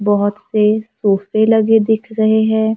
बहोत से सोफे लगे दिख रहे हैं।